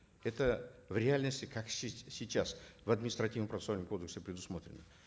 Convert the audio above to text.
это в реальности как сейчас в административно процессуальном кодексе предусмотрено